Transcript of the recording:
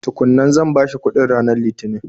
Tukun nan, zan bashi kuɗin ranar lithinin.